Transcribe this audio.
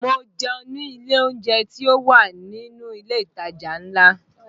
Mo jẹun ní ilé oúnjẹ tí ó wà nínú ilé ìtajà ńlá